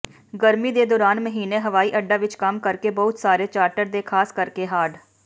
ਗਰਮੀ ਦੇ ਦੌਰਾਨ ਮਹੀਨੇ ਹਵਾਈਅੱਡਾ ਵਿਚ ਕੰਮ ਕਰਕੇ ਬਹੁਤ ਸਾਰੇ ਚਾਰਟਰ ਦੇ ਖਾਸ ਕਰਕੇ ਹਾਰਡ